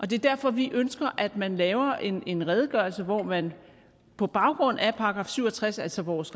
det er derfor vi ønsker at man laver en redegørelse hvor man på baggrund af § syv og tres altså vores